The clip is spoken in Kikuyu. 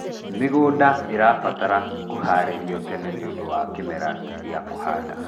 mĩgũnda irabatara kuharĩrio tene nĩũndũ wa kĩmera gia kuhanda